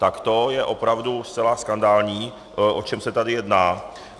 Tak to je opravdu zcela skandální, o čem se tady jedná.